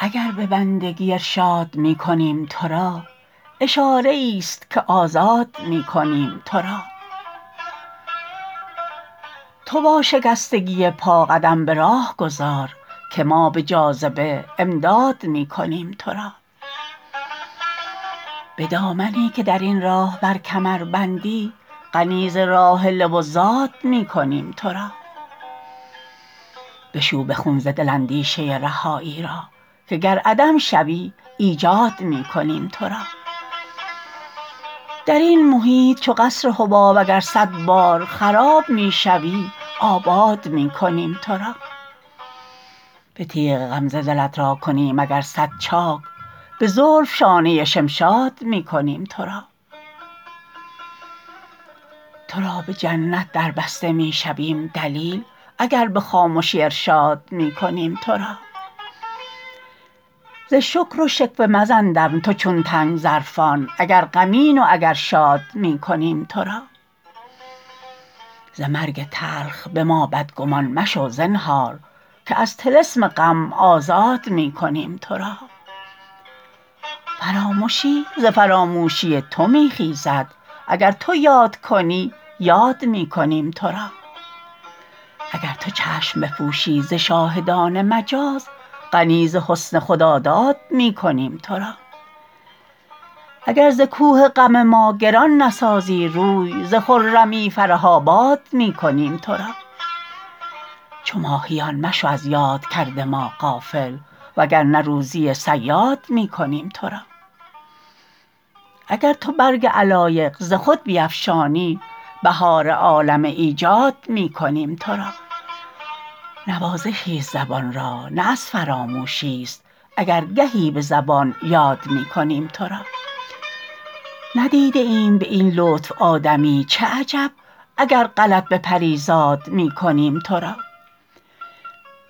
اگر به بندگی ارشاد می کنیم ترا اشاره ای است که آزاد می کنیم ترا تو با شکستگی پا قدم به راه گذار که ما به جاذبه امداد می کنیم ترا به دامنی که درین راه بر کمر بندی غنی ز راحله و زاد می کنیم ترا بشو به خون ز دل اندیشه رهایی را که گر عدم شوی ایجاد می کنیم ترا درین محیط چو قصر حباب اگر صد بار خراب می شوی آباد می کنیم ترا به تیغ غمزه دلت را کنیم اگر صد چاک به زلف شانه شمشاد می کنیم ترا ترا به جنت دربسته می شویم دلیل اگر به خامشی ارشاد می کنیم ترا ز شکر و شکوه مزن دم تو چون تنک ظرفان اگر غمین و اگر شاد می کنیم ترا ز مرگ تلخ به ما بدگمان مشو زنهار که از طلسم غم آزاد می کنیم ترا فرامشی ز فراموشی تو می خیزد اگر تو یاد کنی یاد می کنیم ترا اگر تو چشم بپوشی ز شاهدان مجاز غنی ز حسن خداداد می کنیم ترا اگر ز کوه غم ما گران نسازی روی ز خرمی فرح آباد می کنیم ترا چو ماهیان مشو از یاد کرد ما غافل وگرنه روزی صیاد می کنیم ترا اگر تو برگ علایق ز خود بیفشانی بهار عالم ایجاد می کنیم ترا نوازشی است زبان را نه از فراموشی است اگر گهی به زبان یاد می کنیم ترا ندیده ایم به این لطف آدمی چه عجب اگر غلط به پریزاد می کنیم ترا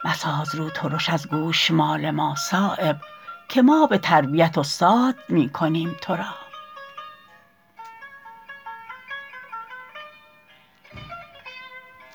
مساز رو ترش از گوشمال ما صایب که ما به تربیت استاد می کنیم ترا